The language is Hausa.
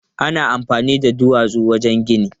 Ana amfani da duwatsu wajen gini.